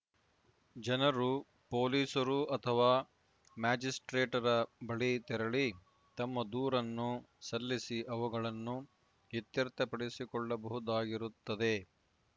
ಜನರು ಪೊಲೀಸರು ಅಥವಾ ಮ್ಯಾಜಿಸ್ಪ್ರೇಟರ ಬಳಿ ತೆರಳಿ ತಮ್ಮ ದೂರನ್ನು ಸಲ್ಲಿಸಿ ಅವುಗಳನ್ನುಇತ್ಯರ್ಥಪಡಿಸಿಕೊಳ್ಳಬಹುದಾಗಿರುತ್ತದೆ